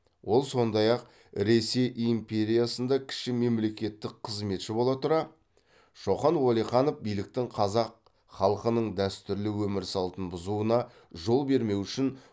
ол сондай ақ ресей империясында кіші мемлекеттік қызметші бола тұра шоқан уәлиханов биліктің қазақ халқының дәстүрлі өмір салтын бұзуына жол бермеу үшін